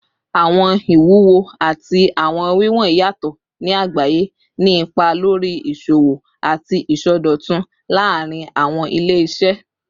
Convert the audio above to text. Awọn iwuwo ati awọn wiwọn yatọ ni agbaye, ni ipa lori iṣowo ati isọdọtun laarin awọn ile-iṣẹ